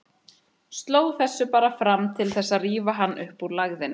Sló þessu bara fram til þess að rífa hann upp úr lægðinni.